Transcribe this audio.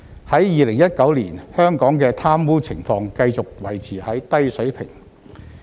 在2019年，香港的貪污情況繼續維持在低水平。